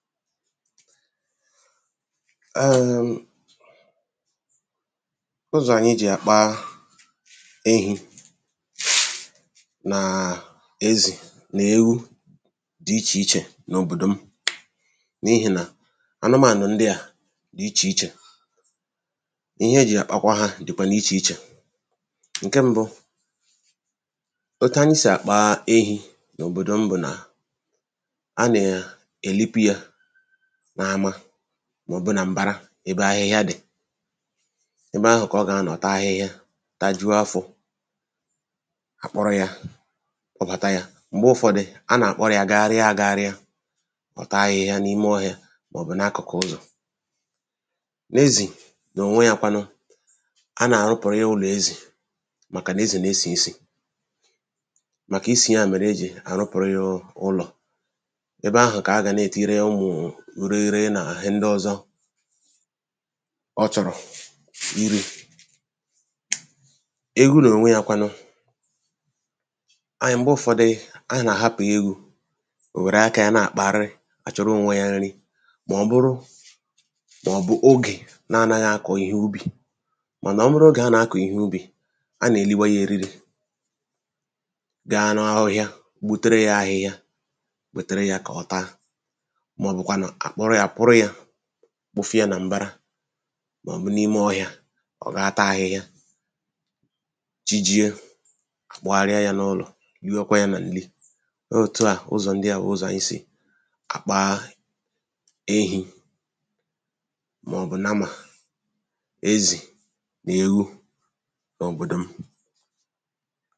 áyī nwēlū ụzọ̀ ànyi jì àkpa ehī breath nàà ezì nà ewu dị́ ichè ichè n’òbòdò m n’ihì nà anụmānụ̀ ndị à dị̀ ichè ichè ihe e jì àkpakwa hā dịkwà n’ichè ichè ṅ̀ke mbụ̄ otu anyị sì àkpa ehī n’òbòdò m bụ̀ nà a nè à èlipu yā n’ama màọ̀bụ nà m̀bara ebe ahịhịa dị̀ ebe ahụ̀ kà ọ gà-anọ̀ taa ahịhịa tajuo afọ̄ à kpọrọ yā kpọbàta yā m̀gbe ụfọdụ a nà-àkpọrọ yā gagharịa āgāghārị̄a ọ̀ taa ahịhịa n’ime ọhịā màọ̀bụ̀ n’akụ̀kụ̀ ụlọ̀ n’ezì n’ònwe yā kwanụ a nà-àrụpụ̀rụ yā ụlọ̀ ezì màkà nà ezì nà esì isì màkà isì ya mèrè e jì àrụpụ̀rụ yā ụlọ̀ ebe ahụ̀ kà a gà na-ètiiri ụmụ̀ʊ̀ urighiri nà ihe ndị ọzọ ọ̀ chọ̀rọ̀ irī eghu n’ònwe yā kwanụ ayị m̀gbe ụfọdị ayị nà àhapụ̀ eghū ò wère aka yā na-àkpagharị àchọrọ ōnwē yā n̄rī mà ọ bụrụ màọ̀bụ̀ ogè na a naghị̄ akọ̀ ihe ubì mànà ọ bụrụ ogè a nà-akọ̀ ihe ubì a nà èliwa yā eriri bịa n' ọhịa gbutere yā ahịhịa wètere yā kà ọ taa màọ̀bụ̀kwànụ̀ à kpọrọ yā kwụrụ yā kpụfụ̄ ya nà m̀bara màòbù n’ime ọhịa ọ̀ gá taa ahịhịa chi jie à kpọgharịa yā n’ụlọ̀ liwekwaa yā nà ǹli oò òtu à ụzọ ndị à bụ̀ ụzọ̀ àyị sì àkpa ehī màọ̀bụ̀ namà ezì nà eghu n’òbòdò m